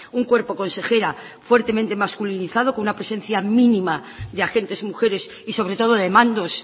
un cuerpo consejera fuertemente masculinizado con una presencia mínima de agentes mujeres y sobre todo de mandos